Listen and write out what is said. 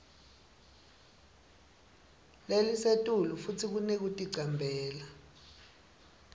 lelisetulu futsi kunekuticambela